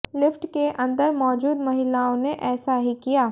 lift के अंदर मौजूद महिलाओं ने ऐसा ही किया